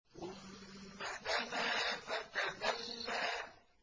ثُمَّ دَنَا فَتَدَلَّىٰ